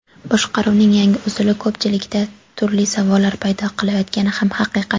Boshqaruvning yangi usuli ko‘pchilikda turli savollar paydo qilayotgani ham haqiqat.